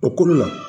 O kolo la